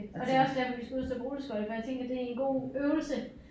Og det også derfor vi skal ud og stå på rulleskøjter for jeg tænker det er en god øvelse